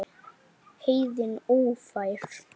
Heiðin ófær?